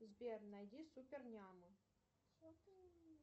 сбер найди супер няму